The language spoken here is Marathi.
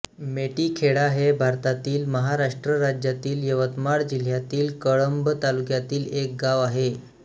मेटीखेडा हे भारतातील महाराष्ट्र राज्यातील यवतमाळ जिल्ह्यातील कळंब तालुक्यातील एक गाव आहे